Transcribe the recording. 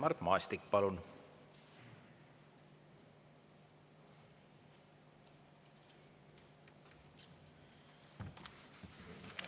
Mart Maastik, palun!